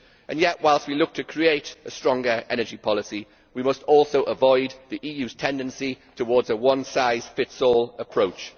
Yet, whilst we seek to create a stronger energy policy, we must also avoid the EU's tendency towards a one size fits all approach.